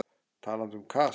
Talandi um kast.